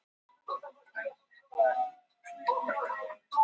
á þeim tíma urðu líka til svo kallaðar apókrýfar bækur gamla testamentisins